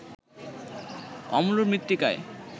অম্ল মৃত্তিকায়